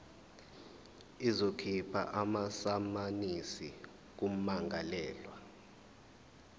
izokhipha amasamanisi kummangalelwa